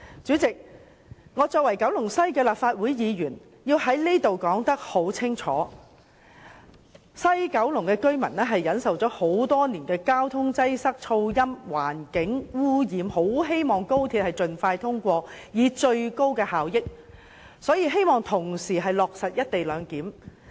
主席，作為九龍西的立法會議員，我要在此講清楚，西九龍居民忍受了多年交通擠塞、噪音、環境污染，他們很希望《條例草案》能盡快通過，令高鐵達致最高效益，落實"一地兩檢"。